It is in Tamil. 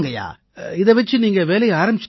இதை வச்சு நீங்க வேலையை ஆரம்பிச்சுட்டீங்களா